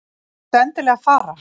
Þarftu endilega að fara?